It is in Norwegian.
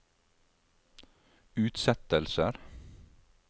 utsettelser